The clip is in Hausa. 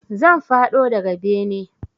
Zan faɗo daga bene